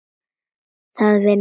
Það vinna allir